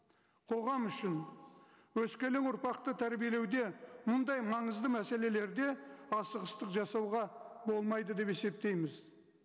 қоғам үшін өскелең ұрпақты тәрбиелеуде мұндай маңызды мәселелерде асығыстық жасауға болмайды деп есептейміз